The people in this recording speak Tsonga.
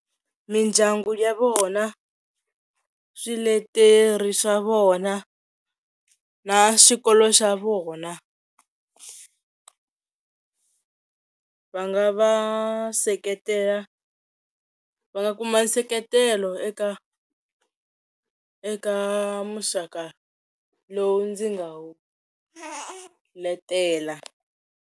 Mindyangu ya vona, swileteri swa vona na swikolo swa vona, va nga va seketela va nga kuma nseketelo eka eka muxaka lowu ndzi nga wu letela.